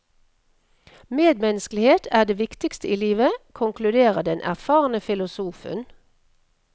Medmenneskelighet er det viktigste i livet, konkluderer den erfarne filosofen.